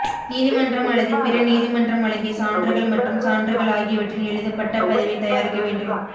நீதிமன்றம் அல்லது பிற நீதிமன்றம் வழங்கிய சான்றுகள் மற்றும் சான்றுகள் ஆகியவற்றின் எழுதப்பட்ட பதிவை தயாரிக்க வேண்டும்